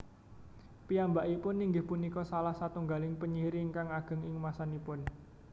Piyambakipun inggih punika salah satunggaling penyihir ingkang ageng ing masanipun